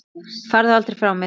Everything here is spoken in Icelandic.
Farðu aldrei frá mér.